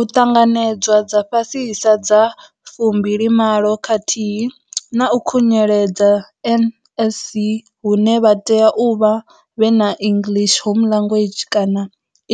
U ṱanganedzwa dza fhasisa dza 28 khathihi na u khunyeledza NSC hune vha tea u vha vhe na English Home Language kana